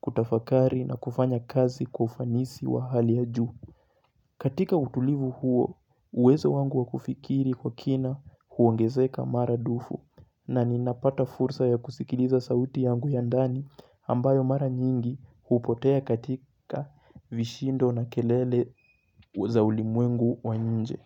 kutafakari na kufanya kazi kwa ufanisi wa hali ya juu. Katika utulivu huo, uwezo wangu wa kufikiri kwa kina huongezeka maradufu na ninapata fursa ya kusikiliza sauti yangu ya ndani ambayo mara nyingi hupotea katika vishindo na kelele za ulimwengu wa nje.